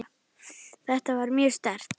Þetta var mjög sterkt.